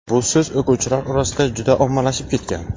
bu so‘z o‘quvchilar orasida juda ommalashib ketgan.